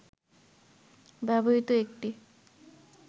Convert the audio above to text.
ব্যবহৃত একটি